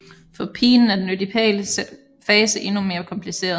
For pigen er den ødipale fase endnu mere kompliceret